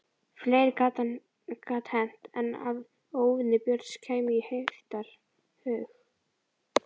Fleira gat hent en að óvinir Björns kæmu í heiftarhug.